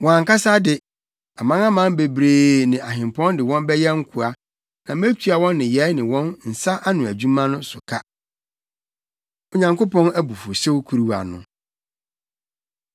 Wɔn ankasa de, amanaman bebree + 25.14 Aman aman bebree—Saa aman no yɛ Persia, Media ne ne nkurɔfo. ne ahempɔn de wɔn bɛyɛ nkoa; na metua wɔn nneyɛe ne wɔn nsa ano adwuma so ka.” Onyankopɔn Abufuwhyew Kuruwa No